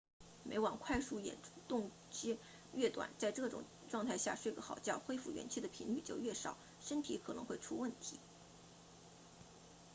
每晚快速眼动期 rem 越短在这种状态下睡个好觉恢复元气的频率就越少身体可能会出问题